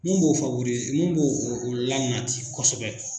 Mun b'o mun b'o lanati kosɛbɛ.